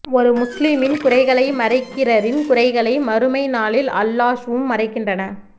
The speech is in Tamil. ஒரு முஸ்லிமின் குறைகளை மறைக்கிறரின் குறைகளை மறுமை நாளில் அல்லாஹ்வும் மறைக்கின்றன